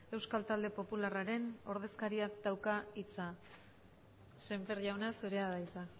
euskal talde popularraren ordezkariak dauka hitza semper jauna zurea da hitza